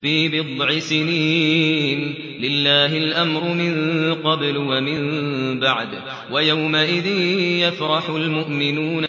فِي بِضْعِ سِنِينَ ۗ لِلَّهِ الْأَمْرُ مِن قَبْلُ وَمِن بَعْدُ ۚ وَيَوْمَئِذٍ يَفْرَحُ الْمُؤْمِنُونَ